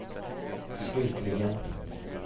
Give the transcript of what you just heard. slutligen